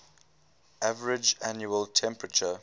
average annual temperature